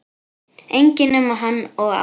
Enginn nema hann og Ása.